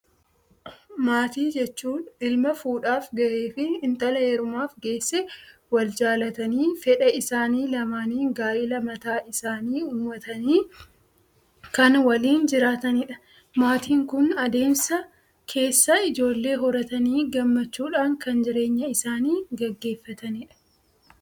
Maatii jechuun ilma fuudhaaf gahee fi intala heerumaaf geesse wal jaalatanii fedha isaanii lamaanin gaa'ila mataa isaanii uumatanii kan waliin jiraatanidha. maatiin kun addeemsa keessa ijoollee horatanii gammachuudhan kan jireenya isaani gaggeeffatanidha.